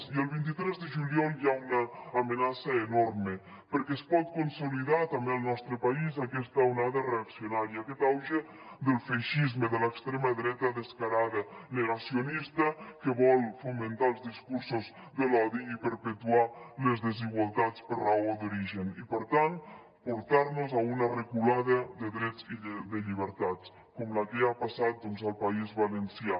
i el vint tres de juliol hi ha una amenaça enorme perquè es pot consolidar també al nostre país aquesta onada reaccionària aquest auge del feixisme de l’extrema dreta descarada negacionista que vol fomentar els discursos de l’odi i perpetuar les desigualtats per raó d’origen i per tant portar nos a una reculada de drets i de llibertats com la que ha passat al país valencià